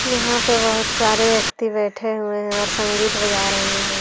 यहाँ पे बोहोत सारे व्यक्ति बैठे हुए है और संगीत बजा रहे है।